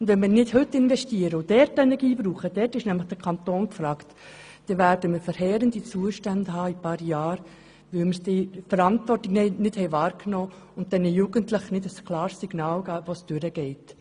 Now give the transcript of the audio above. Wenn wir nicht heute investieren und dort Energie hineingeben – dort ist nämlich der Kanton gefragt –, werden wir in ein paar Jahren verheerende Zustände haben, weil wir die Verantwortung nicht wahrgenommen und den Jugendlichen kein klares Signal gegeben haben, in welche Richtung es geht.